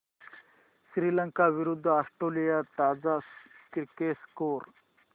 श्रीलंका विरूद्ध ऑस्ट्रेलिया ताजा cricket score